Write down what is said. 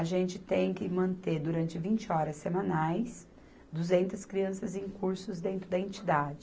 A gente tem que manter, durante vinte horas semanais, duzentas crianças em cursos dentro da entidade.